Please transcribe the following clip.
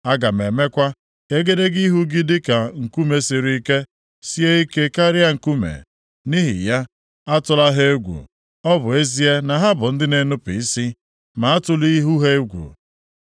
Aga m emekwa ka egedege ihu gị dị ka nkume siri ike, sie ike karịa nkume. Nʼihi ya, atụla ha egwu; ọ bụ ezie na ha bụ ndị na-enupu isi, ma atụla ihu ha egwu.”